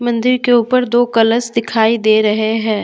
मंदिर के ऊपर दो कलस दिखाई दे रहे हैं।